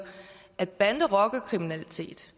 at bande og rockerkriminalitet